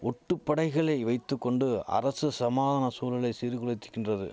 ஒட்டு படைகளை வைத்து கொண்டு அரசு சமாதான சூழலை சீர்குலைத்துகின்றது